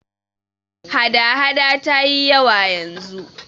hada- hada ta yi yawa yanzu